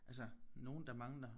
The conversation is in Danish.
Altså nogen der mangler